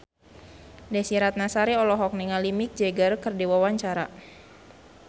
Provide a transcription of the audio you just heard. Desy Ratnasari olohok ningali Mick Jagger keur diwawancara